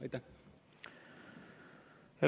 Aitäh!